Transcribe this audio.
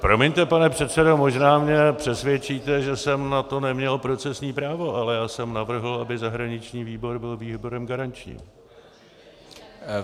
Promiňte, pane předsedo, možná mě přesvědčíte, že jsem na to neměl procesní právo, ale já jsem navrhl, aby zahraniční výbor byl výborem garančním.